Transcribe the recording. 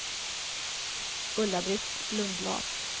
Ulla-Britt Lundblad